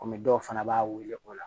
Kɔmi dɔw fana b'a weele o la